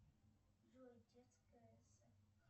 джой детская